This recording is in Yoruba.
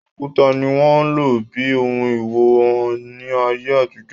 Òkúta ni wọ́n ń lò bíi òhun ìwọ̀n ní ayé àtijọ́